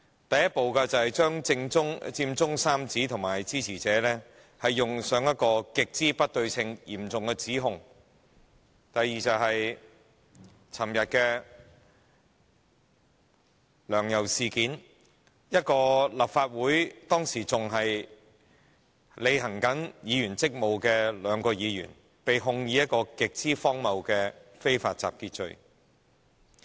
第一步是將佔中三子及其支持者冠以極不對稱的嚴重指控；第二步是昨天的"梁游"事件：當時仍在履行立法會議員職務的兩位前議員，被控以極荒謬的非法集結罪。